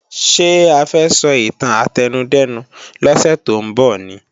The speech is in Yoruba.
Ṣé a fẹ́ sọ ìtàn átẹnudẹ́nu lọ́sẹ̀ tó ń bọ̀ ni?